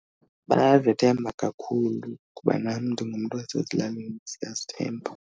Bayazethemba kakhulu kuba nam ndingumntu wasezilalini, siyazithemba.